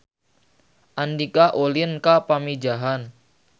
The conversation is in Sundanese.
Andika ulin ka Pamijahan